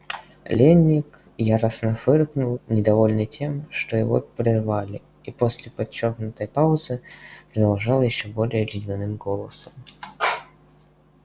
лэннинг яростно фыркнул недовольный тем что его прервали и после подчёркнутой паузы продолжал ещё более ледяным голосом